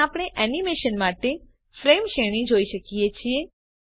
અહીં આપણે એનિમેશન માટે ફ્રેમ શ્રેણી જોઈ શકીએ છીએ